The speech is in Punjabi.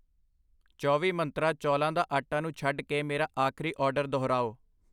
ਚੌਵੀ ਮੰਤਰਾਂ, ਚੌਲਾਂ ਦਾ ਆਟਾ ਨੂੰ ਛੱਡ ਕੇ ਮੇਰਾ ਆਖਰੀ ਆਰਡਰ ਦੁਹਰਾਓ।